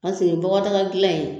bɔgɔdagadilan in